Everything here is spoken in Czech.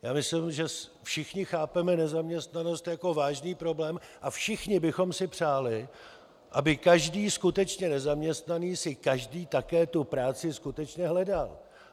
Já myslím, že všichni chápeme nezaměstnanost jako vážný problém a všichni bychom si přáli, aby každý skutečně nezaměstnaný si každý také tu práci skutečně hledal.